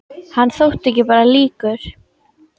Hann þótti ekki bara líkur